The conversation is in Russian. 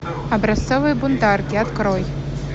образцовые бунтарки открой